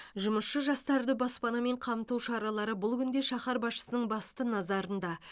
жұмысшы жастарды баспанамен қамту шаралары бұл күнде шаһар басшысының басты назарында